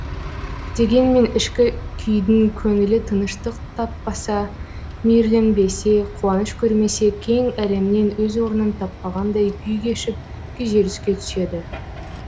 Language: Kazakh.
дегенмен ішкі күйдің көңілі тыныштық таппаса мейірленбесе қуаныш көрмесе кең әлемнен өз орнын таппағандай күй кешіп күйзеліске түседі